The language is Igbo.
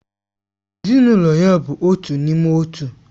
Ezinụlọ ya bụ otu n'ime otu